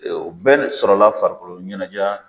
Ee o de sɔrɔla farikoloɲɛnɛjɛ a